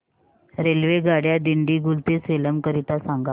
रेल्वेगाड्या दिंडीगुल ते सेलम करीता सांगा